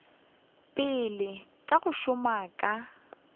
pele ka go šoma ka